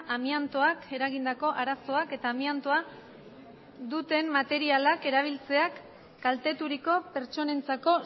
amiantoak eragindako arazoak eta amiantoa duten materialak erabiltzeak kalteturiko pertsonentzako